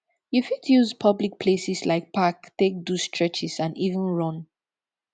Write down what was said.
you fit use public places like park take do stretches and even run